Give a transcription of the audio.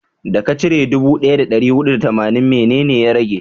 da ka cire dubu daya da dari hudu da tamanin, mene ne ya rage?